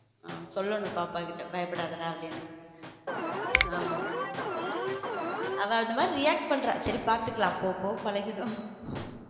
நான் சொல்லனும் பாப்பா கிட்ட பயப்படாதடா அப்பிடின்னு ஆமா அவ அந்த மாதிரி react பண்றா சரி பார்த்துக்கலாம் போ போ பழகிடும்.